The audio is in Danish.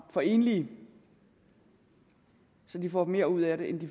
for enlige så de får mere ud af det end de